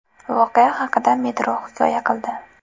Voqea haqida Metro hikoya qildi .